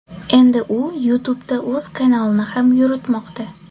Endi u YouTube’da o‘z kanalini ham yuritmoqda.